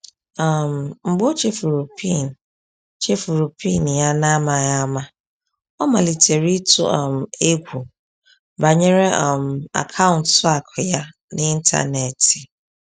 um Mgbe ọ chefuru PIN chefuru PIN ya n’amaghị ama, ọ malitere ịtụ um egwu banyere um akaụntụ akụ ya n’ịntanetị.